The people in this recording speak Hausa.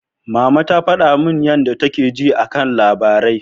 Mama ta faɗa min yadda take ji a kan labarai.